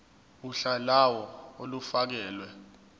uhla lawo olufakelwe